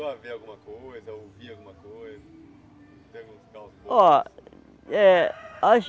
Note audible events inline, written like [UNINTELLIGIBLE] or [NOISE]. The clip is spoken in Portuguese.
Você chegou a ver alguma coisa, ouvir alguma coisa? [UNINTELLIGIBLE] Ó é a